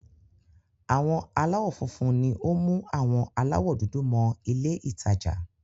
Àwọn aláwọ̀ funfun ni ó mú àwọn aláwọ̀ dúdú mọ ilé-ìtajà.